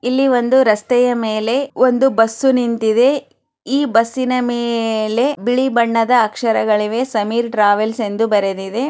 ಇಲ್ಲಿ ಒಂದು ರಸ್ತೆಯ ಮೇಲೆ ಒಂದು ಬಸ್ ನಿಂತಿದ್ದೆ ಈ ಬಸ್ನಿ ಮೇಲೆ ಬಿಳಿ ಬಣ್ಣದ ಅಕ್ಷರಗಳು ಇವೆ ಸಮೀರ್ ಟ್ರಾವೆಲ್ಸ್ ಅಂತ ಬರೆದಿದೆ